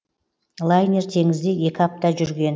лайнер теңізде екі апта жүрген